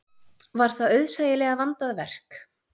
Var það auðsæilega vandað verk.